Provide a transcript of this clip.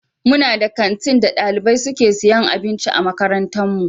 We have a school canteen in our school where students buy food.